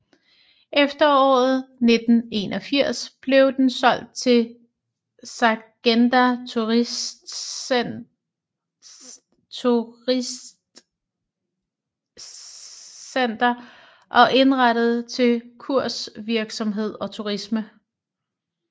Efteråret 1981 blev den solgt til Saggrenda Turistsenter og indrettet til kursvirksomhed og turisme